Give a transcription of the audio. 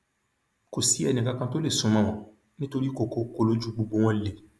kò sí ẹnìkankan tó lè sún mọ wọn nítorí kokoko lojú gbogbo wọn le